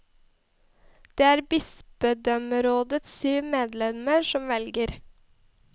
Det er bispedømmerådets syv medlemmer som velger.